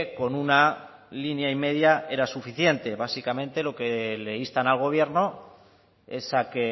con una línea y media era suficiente básicamente lo que le instan al gobierno es a que